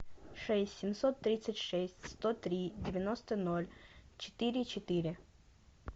шесть семьсот тридцать шесть сто три девяносто ноль четыре четыре